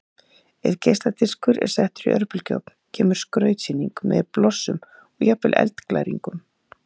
Ef geisladiskur er settur í örbylgjuofn kemur skrautsýning með blossum og jafnvel eldglæringum.